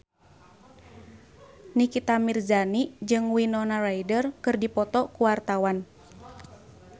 Nikita Mirzani jeung Winona Ryder keur dipoto ku wartawan